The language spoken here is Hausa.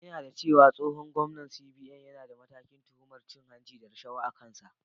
Ina da cewa tsohon gwamnan na CBN yana da matakin tuhumar cin hanci da rashawa a kansa.